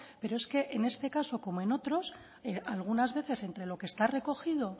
pero es que en este caso como en otros algunas veces entre lo que está recogido